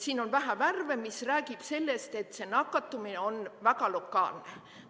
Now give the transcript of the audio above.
Siin on vähe värve, mis räägib sellest, et nakatumine on väga lokaalne.